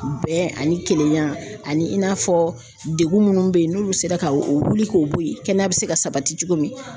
Bɛn ani kelenya ani i n'a fɔ degun munnu bɛ yen n'olu sera ka wuli k'o bɔ yen kɛnɛya bɛ se ka sabati cogo min.